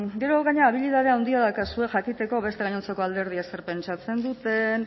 gero gainera habilidade handia daukazue jakiteko beste gainontzeko alderdiek zer pentsatzen duten